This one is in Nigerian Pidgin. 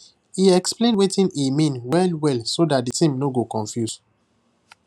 he explain wetin he mean well well so that the team no go confuse